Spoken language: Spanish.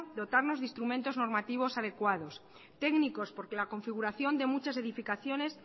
dotarnos de instrumentos normativos adecuados técnicos porque la configuración de muchas edificaciones